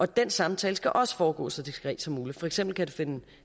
den samtale skal også foregå så diskret som muligt for eksempel finde